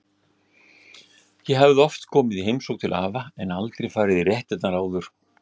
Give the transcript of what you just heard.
Ég hafði oft komið í heimsókn til afa en aldrei farið í réttirnar áður.